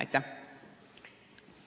Aitäh!